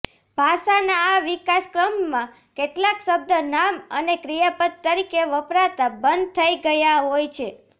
ભાષાના આ વિકાસક્રમમાં કેટલાક શબ્દ નામ અને ક્રિયાપદ તરીકે વપરાતા બંધ થઈ ગયા હોય છે